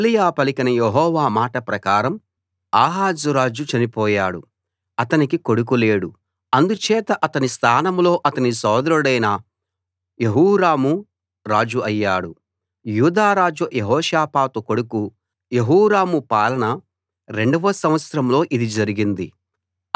ఏలీయా పలికిన యెహోవా మాట ప్రకారం ఆహాజు రాజు చనిపోయాడు అతనికి కొడుకు లేడు అందుచేత అతని స్థానంలో అతని సోదరుడైన యెహోరాము రాజు అయ్యాడు యూదా రాజు యెహోషాపాతు కొడుకు యెహోరాము పాలన రెండవ సంవత్సరంలో ఇది జరిగింది